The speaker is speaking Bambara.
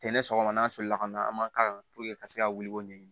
Ten ne sɔgɔma n'a solila ka na an b'a la ka se ka wuli ko ɲɛɲini